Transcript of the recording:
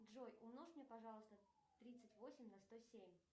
джой умножь мне пожалуйста тридцать восемь на сто семь